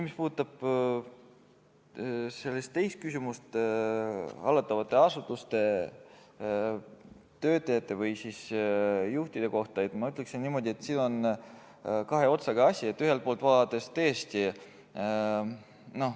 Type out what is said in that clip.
Mis puudutab küsimust hallatavate asutuste töötajate või juhtide kohta, siis ma ütlen niimoodi, et see on kahe otsaga asi.